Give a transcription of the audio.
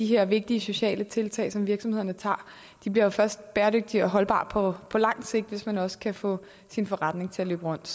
her vigtige sociale tiltag som virksomhederne tager bliver jo først bæredygtige og holdbare på langt sigt hvis man også kan få sin forretning til at løbe rundt